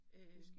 Øh